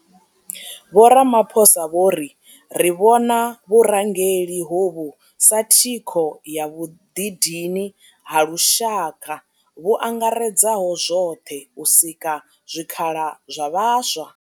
Vho Ramaphosa vho ri ri vhona vhurangeli hovhu sa thikho ya vhuḓidini ha lushaka vhu angaredzaho zwoṱhe u sika zwikhala zwa vhaswa.